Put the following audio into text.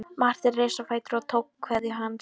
Marteinn reis á fætur og tók kveðju hans.